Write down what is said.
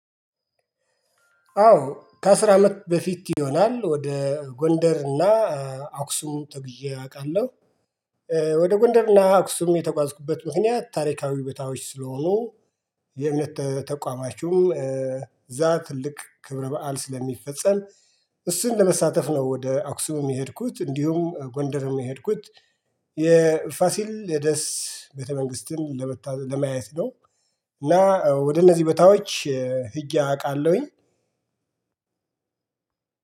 አዎ ከአስር አመት በፊት ይሆናል ወደ ጎንደር እና አክሱም ተጉዤ አውቃለሁ። ወደ ጎንደር እና አክሱም የተጓዝኩበት ምክንያት ታሪካዊ ቦታዎች ስለሆኑ እምነት ተቋማችሁ። ዛ ትልቅ ክብረ በዓል ስለሚፈጸም እሱን ለመሳተፍ ነው ወደ አክሱም የሄድኩት እንዲሁም ጎንደርም የሄድኩት የፋሲለደስ ቤተ መንግስትን ለመታደ ለማየት ነው። እና ወደ እነዚህ ቦታዎች ሂጀ አውቃለሁኝ